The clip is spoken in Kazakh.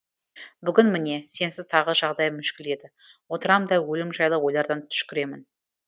бүгін міне сенсіз тағы жағдайым мүшкіл еді отырам да өлім жайлы ойлардан түшкіремін